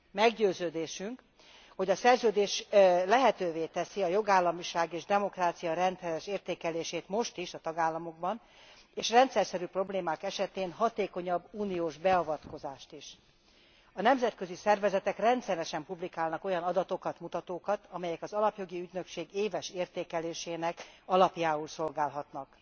Meggyőződésünk, hogy a Szerződés most is lehetővé teszi a jogállamiság és demokrácia rendszeres értékelését a tagállamokban, és rendszerszerű problémák esetén a hatékonyabb uniós beavatkozást is. A nemzetközi szervezetek rendszeresen publikálnak olyan adatokat, mutatókat, amelyek az alapjogi ügynökség éves értékelésének alapjául szolgálhatnak.